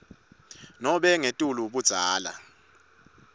nobe ngetulu budzala